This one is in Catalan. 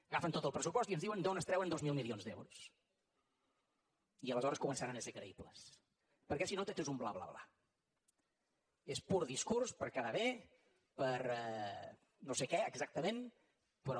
agafen tot el pressupost i ens diuen d’on es treuen dos mil milions d’euros i aleshores començaran a ser creïbles perquè si no tot és un bla bla bla és pur discurs per quedar bé per no sé què exactament però